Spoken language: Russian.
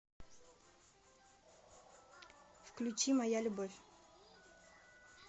включи моя любовь